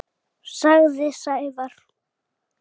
sagði Sævar.